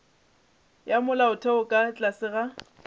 ya molaotheo ka tlase ga